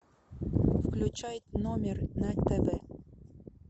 включай номер на тв